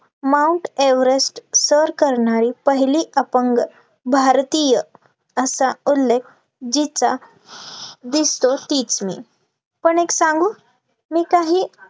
mount Everest सर करणारी पहिली अपंग भारतीय, असा उल्लेख जिचा दिसतो तीच मी पण एक सांगू मी काही